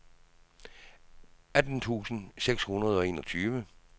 atten tusind seks hundrede og enogtyve